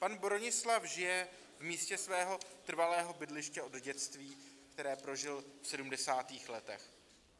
Pan Bronislav žije v místě svého trvalého bydliště od dětství, které prožil v sedmdesátých letech.